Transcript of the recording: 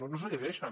no se les llegeixen